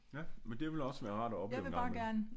Ja men det ville også være rart at opleve en gang imellem